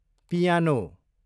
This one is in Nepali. पियानो